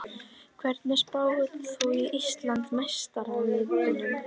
Hverjum spáir þú Íslandsmeistaratitlinum?